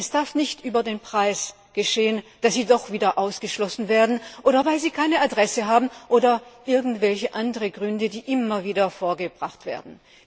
Es darf nicht sein, dass diese Menschen über den Preis doch wieder ausgeschlossen werden, oder weil sie keine Adresse haben, oder aus irgendwelchen anderen Gründen, die immer wieder vorgebracht werden.